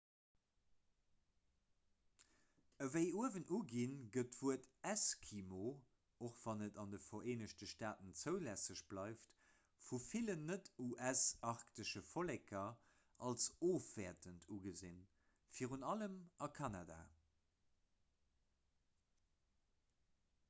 ewéi uewen uginn gëtt d'wuert eskimo och wann et an de vereenegte staaten zoulässeg bleift vu villen net-us-arktesche volleker als ofwäertend ugesinn virun allem a kanada